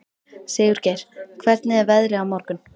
Sigurgeir, hvernig er veðrið á morgun?